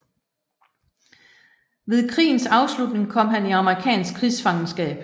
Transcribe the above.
Ved krigens afslutning kom han i amerikansk krigsfangenskab